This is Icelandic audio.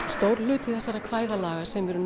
stór hluti þessara kvæðalaga sem eru